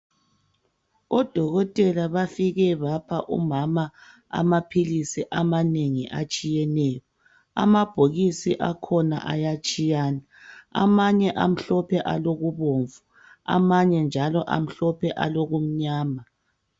Odokotela bafike bapha umama amaphilisi amanengi atshiyeneyo. Amabhokisi akhona ayatshiyana. Amanye amhlophe alokubomvu amanye njalo amhlophe alokumnyama.